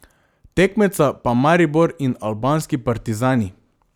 Tekmeca pa Maribor in albanski Partizani.